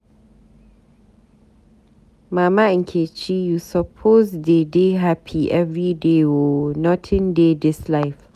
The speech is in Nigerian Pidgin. Mama Nkechi, you suppose dey dey hapi everyday o, nothing dey dis life.